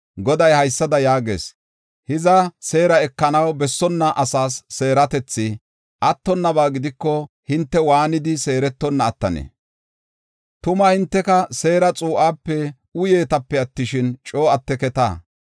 Goday haysada yaagees; “Hiza seera ekanaw bessonna asas seeretethi attonnaba gidiko, hinte waanidi seerettonna attanee? Tuma hinteka seera xuu7ape uyeetape attishin, coo atteketa.